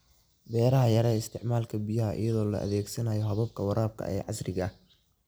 Beeraha Yaree isticmaalka biyaha iyadoo la adeegsanayo hababka waraabka ee casriga ah.